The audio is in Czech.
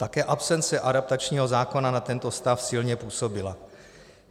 Také absence adaptačního zákona na tento stav silně působila.